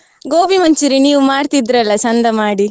Gobi manchuri~ ನೀವ್ ಮಾಡ್ತಿದ್ರಿ ಅಲ್ಲ ಚೆಂದ ಮಾಡಿ.